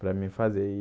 Para mim fazer e.